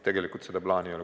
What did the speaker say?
Tegelikult seda plaani ei ole.